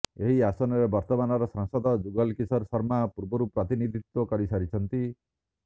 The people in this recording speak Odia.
ଏହି ଆସନରେ ବର୍ତ୍ତମାନର ସାଂସଦ ଯୁଗଲ କିଶୋର ଶର୍ମା ପୂର୍ବରୁ ପ୍ରତିନିଧିତ୍ବ କରିସାରିଛନ୍ତି